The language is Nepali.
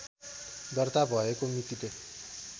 दर्ता भएको मितिले